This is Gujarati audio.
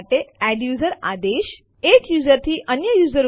તે this is a Unix file to test the CMP command